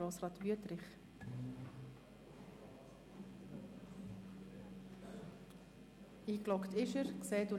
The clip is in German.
Grossrat Wüthrich hat das Wort für die SP-JUSO-PSA-Fraktion.